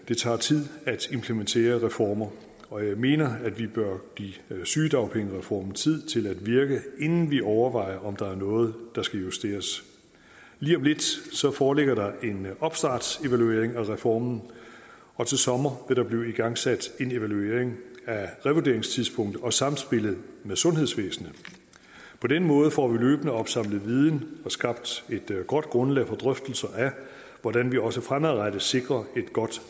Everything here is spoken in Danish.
det tager tid at implementere reformer og jeg mener at vi bør give sygedagpengereformen tid til at virke inden vi overvejer om der er noget der skal justeres lige om lidt foreligger der en opstartsevaluering af reformen og til sommer vil der blive igangsat en evaluering af revurderingstidspunktet og samspillet med sundhedsvæsenet på den måde får vi løbende opsamlet viden og skabt et godt grundlag for drøftelser af hvordan vi også fremadrettet sikrer et godt